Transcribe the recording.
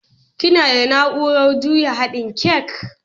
Kina da naurar juya haɗin kek?